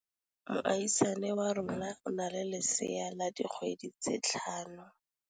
Moagisane wa rona o na le lesea la dikgwedi tse tlhano.